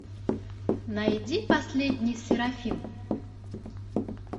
найди последний серафим